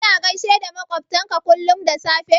Kana gaishe da maƙwabtanka kullum da safe?